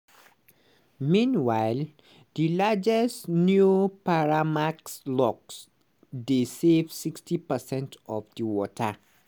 meanwhile di largest neo-panamax locks dey save 60 percent of di water.